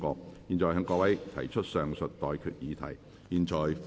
我現在向各位提出上述待決議題，付諸表決。